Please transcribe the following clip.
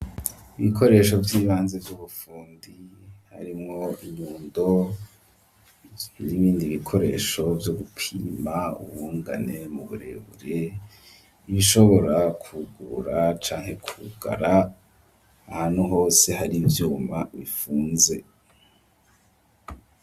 Ibikoresho vyibanze vy'ubufundi harimwo inyundo n'ibindi bikoresho vyo gupima ubungane nu burebure ibishobora ku gurura canke ku gara ahantu hose hari ivyuma bifunze.